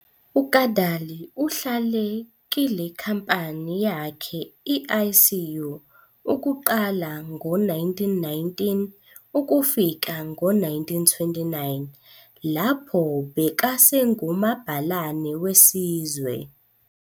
UKadalie uhlale kilekhampani yakhe i-ICU ukuqala ngo1919 ukufika ngo1929 lapho bekasengu mabhalane wesizwe.